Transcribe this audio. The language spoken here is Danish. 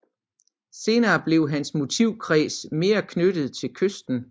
Senere blev hans motivkreds mere knyttet til kysten